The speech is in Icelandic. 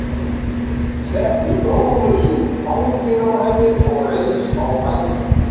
Setti bróður sinn í fangið á henni og reis á fætur.